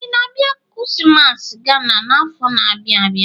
Ị na-abịa Kumasi, Ghana n'afọ na-abịa abịa?